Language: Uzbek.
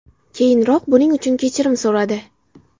Keyinroq buning uchun kechirim so‘radi.